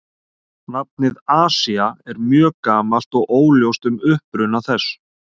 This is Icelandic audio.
Nafnið Asía er mjög gamalt og óljóst um uppruna þess.